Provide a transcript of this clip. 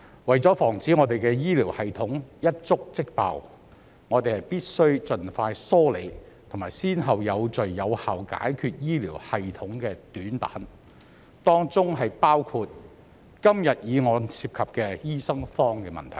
為了防止我們的醫療系統一觸即爆，我們必須盡快梳理及有序有效地解決醫療系統的短板，當中包括今天議案涉及的醫生荒問題。